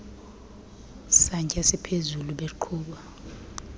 santya siphezulu beqhuba